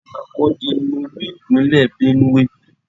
Makurdi ni Olú-Ìpínlẹ̀ Benue.